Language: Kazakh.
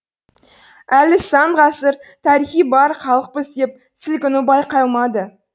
әлі сан ғасыр тарихы бар халықпыз деп сілкіну байқалмайды